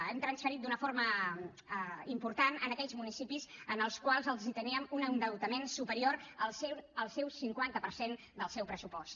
hem transferit d’una forma important a aquells municipis amb els quals teníem un endeutament superior al cinquanta per cent del seu pressupost